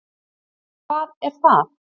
Hvað er það?